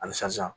Halisa